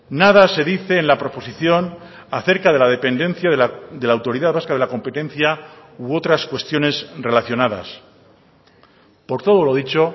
nada se dice en la proposición acerca de la dependencia de la autoridad vasca de la competencia u otras cuestiones relacionadas por todo lo dicho